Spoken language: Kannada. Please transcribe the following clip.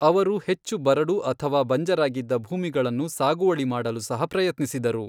ಅವರು ಹೆಚ್ಚು ಬರಡು ಅಥವಾ ಬಂಜರಾಗಿದ್ದ ಭೂಮಿಗಳನ್ನು ಸಾಗುವಳಿ ಮಾಡಲು ಸಹ ಪ್ರಯತ್ನಿಸಿದರು.